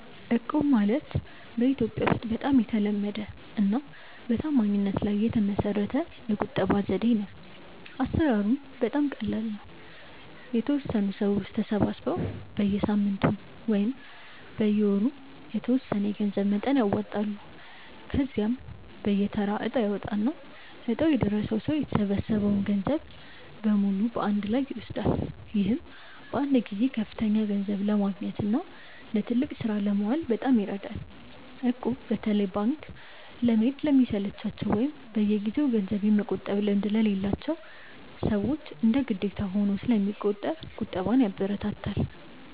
እቁብ ማለት በኢትዮጵያ ውስጥ በጣም የተለመደና በታማኝነት ላይ የተመሰረተ የቁጠባ ዘዴ ነው። አሰራሩም በጣም ቀላል ነው፤ የተወሰኑ ሰዎች ተሰባስበው በየሳምንቱ ወይም በየወሩ የተወሰነ የገንዘብ መጠን ያዋጣሉ። ከዚያም በየተራ እጣ ይወጣና እጣው የደረሰው ሰው የተሰበሰበውን ገንዘብ በሙሉ በአንድ ላይ ይወስዳል። ይህም በአንድ ጊዜ ከፍተኛ ገንዘብ ለማግኘትና ለትልቅ ስራ ለማዋል በጣም ይረዳል። እቁብ በተለይ ባንክ ለመሄድ ለሚሰለቻቸው ወይም በየጊዜው ገንዘብ የመቆጠብ ልምድ ለሌላቸው ሰዎች እንደ ግዴታ ሆኖ ስለሚቆጥር ቁጠባን ያበረታታል።